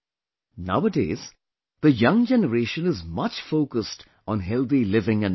Nowadays, the young generation is much focused on Healthy Living and Eating